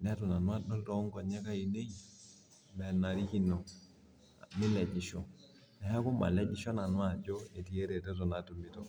neitu nanu adol too nkonyek ainei. enabikino. kelejisho. neeku malejisho nanu ajo etii eretoto.